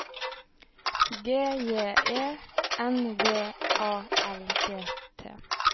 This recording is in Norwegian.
G J E N V A L G T